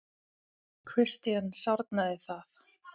Christian sárnaði það.